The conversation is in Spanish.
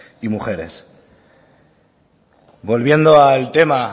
y mujeres volviendo al tema